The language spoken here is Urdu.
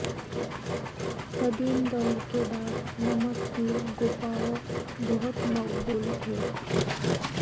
قدیم دور کے بعد نمک کی گفاوں بہت مقبول تھے